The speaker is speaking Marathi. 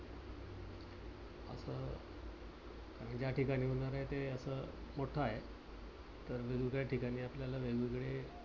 ज्या टिकाणी होणार आहे ते अस मोठ आहे. तर वेगवेगळ्या ठिकाणी आपल्याला वेगवेगळे